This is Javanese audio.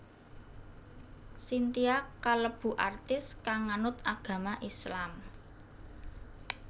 Cynthia kalebu artis kang nganut agama Islam